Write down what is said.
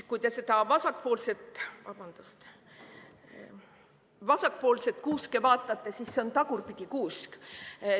Kui te seda vasakpoolset kuuske vaatate, siis see on tagurpidi kuusk.